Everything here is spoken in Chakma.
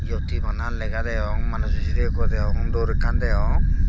yot hi bana lega degong manujo sirey ikko degong dor ekkan degong.